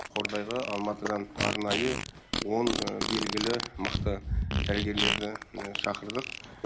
қордайға алматыдан арнайы он белгілі мықты дәрігерлерді шақырдық